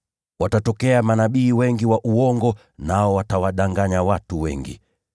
Watatokea manabii wengi wa uongo, nao watawadanganya watu wengi.